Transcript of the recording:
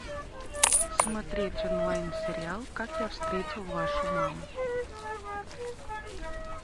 смотреть онлайн сериал как я встретил вашу маму